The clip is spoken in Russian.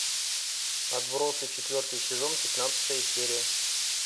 отбросы четвертый сезон пятнадцатая серия